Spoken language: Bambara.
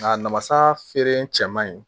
Nka namasa feere cɛ man ɲi